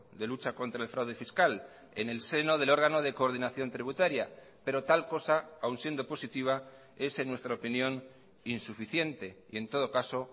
de lucha contra el fraude fiscal en el seno del órgano de coordinación tributaria pero tal cosa aun siendo positiva es en nuestra opinión insuficiente y en todo caso